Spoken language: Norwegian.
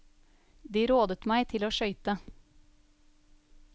De rådet meg til å skøyte.